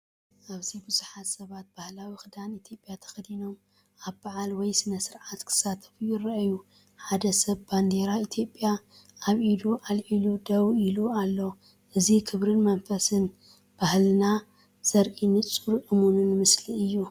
ኣብዚ ብዙሓት ሰባት ባህላዊ ክዳን ኢትዮጵያ ተኸዲኖም ኣብ በዓል ወይ ስነ-ስርዓት ክሳተፉ ይረኣዩ። ሓደ ሰብ ባንዴራ ኢትዮጵያ ኣብ ኢዱ ኣልዒሉ ደው ኢሉ ኣሎ። እዚ ክብርን መንፈስን ባህልና ዘርኢ ንጹርን እሙንን ምስሊ እዩ።